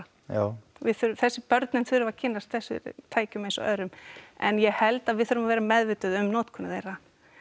já við þurfum þessi börnin þurfa að kynnast þessum tækjum eins og öðrum en ég held að við þurfum að vera meðvituð um notkun þeirra